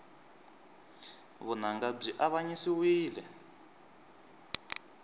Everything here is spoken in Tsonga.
vunanga byi avanyisiwile